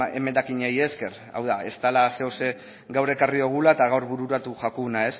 emendakinei esker hau da ez dala zeozer gaur ekarri dugula eta gaur bururatu zaiguna